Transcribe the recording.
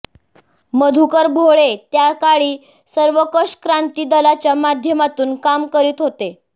मधुकर भोळे त्याकाळी सर्वंकष क्रांती दलाच्या माध्यमातून काम करीत होते